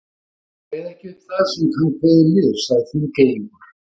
Ég kveð ekki upp það sem hann kveður niður, sagði Þingeyingur.